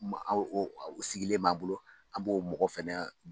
Ma o o o Sigilen b'a bolo an b'o mɔgɔ fɛnɛ.